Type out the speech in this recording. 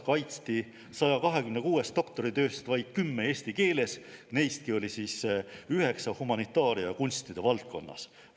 … kaitsti 126 doktoritööst vaid kümme eesti keeles, neistki olid üheksa humanitaaria ja kunstide valdkonnas.